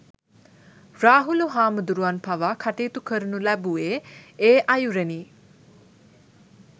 රාහුල හාමුදුරුවන් පවා කටයුතු කරනු ලැබුවේ, ඒ අයුරෙනි.